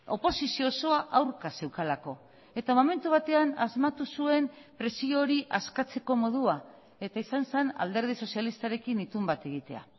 oposizio osoa aurka zeukalako eta momentu batean asmatu zuen presio hori askatzeko modua eta izan zen alderdi sozialistarekin itun bat egitea